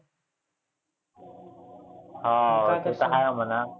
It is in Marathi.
हो ते तर आहे म्हणा.